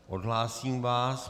Odhlásím vás.